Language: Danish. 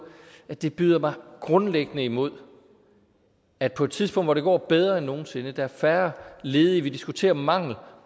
at det byder mig grundlæggende imod at på et tidspunkt hvor det går bedre end nogen sinde der er færre ledige vi diskuterer mangel